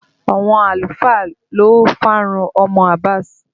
Àwọn àlùfáà ló farun ọmọ Abass